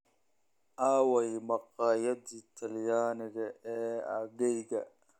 Aaway maqaayadihii Talyaaniga ee aaggayga?